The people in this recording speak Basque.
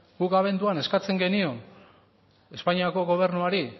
guk abenduak eskatzen genion espainiako gobernuari